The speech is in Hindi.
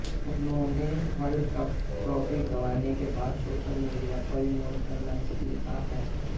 उन्होंने वर्ल्ड कप ट्रोफी गंवाने के बाद सोशल मीडिया पर इमोशनल मेसेज लिखा है